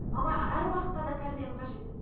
бала әр уақытта да тәрбиені қажет